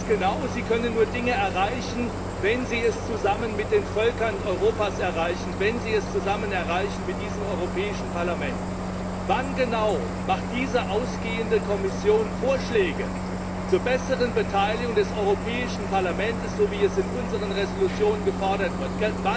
Sie wissen ganz genau, Sie können nur Dinge erreichen, wenn Sie sie zusammen mit den Völkern Europas erreichen, wenn Sie sie zusammen mit diesem Europäischen Parlament erreichen. Wann genau macht diese ausgehende Kommission Vorschläge zur besseren Beteiligung des Europäischen Parlaments, so wie es in unseren Entschließungen gefordert wird?